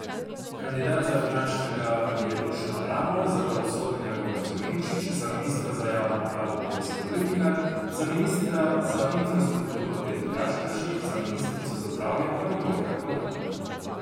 Kandidat za finančnega je Dušan Mramor, za pravosodnega Goran Klemenčič, za ministra za javno upravo Boris Koprivnikar, za ministra za infrastrukturo Peter Gašperšič, za ministrico za zdravje pa Milojka Kolar.